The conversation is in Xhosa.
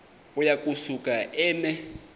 uya kusuka eme